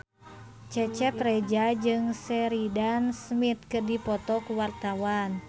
Cecep Reza jeung Sheridan Smith keur dipoto ku wartawan